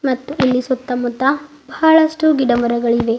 ಮತ್ತು ಇಲ್ಲಿ ಸುತ್ತಮುತ್ತ ಬಹಳಷ್ಟು ಗಿಡ ಮರಗಳಿವೆ.